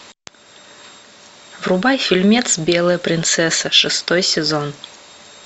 врубай фильмец белая принцесса шестой сезон